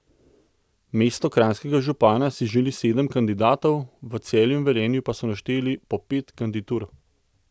Mesto kranjskega župana si želi sedem kandidatov, v Celju in Velenju pa so našteli po pet kandidatur.